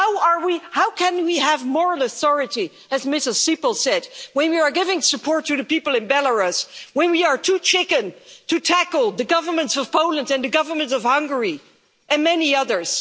How can we have moral authority, as Ms Sippel said, when we are giving support to the people in Belarus, when we are too chicken to tackle the governments of Poland and the governments of Hungary, and many others.